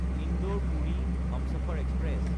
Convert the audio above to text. ইন্দোৰ–পুৰি Humsafar express